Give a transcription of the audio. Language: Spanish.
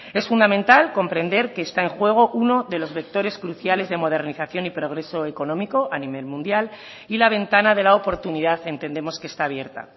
es fundamental comprender que está en juego uno de los vectores cruciales de modernización y progreso económico a nivel mundial y la ventana de la oportunidad entendemos que está abierta